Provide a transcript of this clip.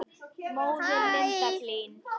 Móðir Linda Hlín.